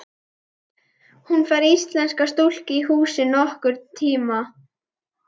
Hún fær íslenska stúlku í húsið nokkurn tíma.